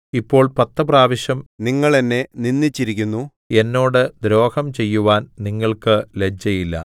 ഇപ്പോൾ പത്ത് പ്രാവശ്യം നിങ്ങൾ എന്നെ നിന്ദിച്ചിരിക്കുന്നു എന്നോട് ദ്രോഹം ചെയ്യുവാൻ നിങ്ങൾക്ക് ലജ്ജയില്ല